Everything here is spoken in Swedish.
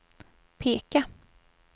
peka